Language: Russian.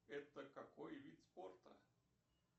это какой вид спорта